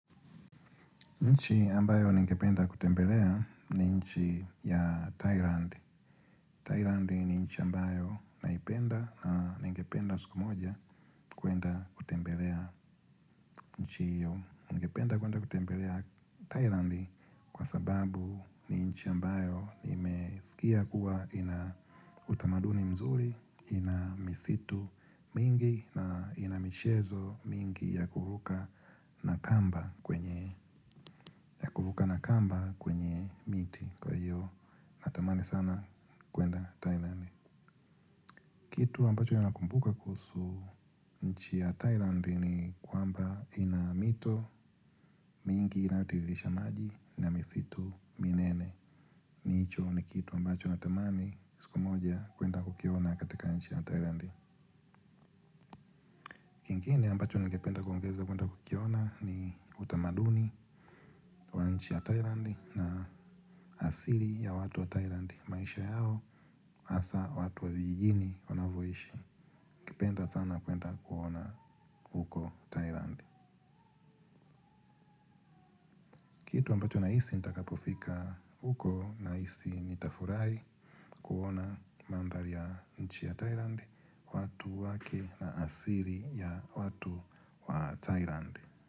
Nchi ambayo ningependa kutembelea ni nchi ya Thailand. Thailand ni nchi ambayo naipenda na ningependa siku moja kuenda kutembelea nchi hiyo. Nchi ambayo naipenda kwenda kutembelea Thailand kwa sababu ni nchi ambayo nimesikia kuwa ina utamaduni mzuri, ina misitu mingi na ina michezo mingi ya kuruka na kamba kwenye. Ya kuruka na kamba kwenye miti, kwa hiyo natamani sana kwenda Thailand. Kitu ambacho nakumbuka kuhusu nchi ya Thailand, ni kwamba ina mito, mingi inayotiririsha maji na misitu minene hicho ni kitu ambacho natamani siku moja kwenda kukiona katika nchi ya Thailand. Kingine ambacho ningependa kuongeza kwenda kukiona ni utamaduni wa nchi ya Thailand na asili ya watu wa Thailand. Maisha yao hasa watu wa vijijini wanavyoishi ningependa sana kwenda kuona huko Thailand. Kitu ambacho nahisi nitakapofika huko, nahisi nitafurahi kuona mandhari ya nchi ya Thailand, watu wake na asili ya watu wa Thailand.